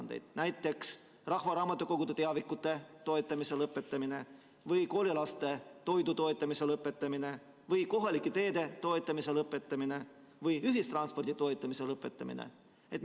näiteks rahvaraamatukogude teavikute toetamise lõpetamine või koolilaste toidu toetamise lõpetamine või kohalike teede toetamise lõpetamine või ühistranspordi toetamise lõpetamine?